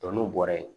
n'u bɔra yen